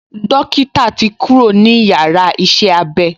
Dókítà ti kúrò ní yàrá iṣẹ́-abé